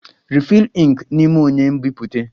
Refill ink n'ime onye nbipute!